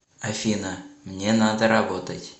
афина мне надо работать